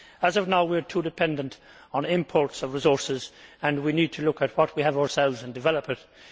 As of now, we are too dependent on imports of resources and we need to look at what we have ourselves and develop it.